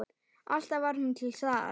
Alltaf var hún til staðar.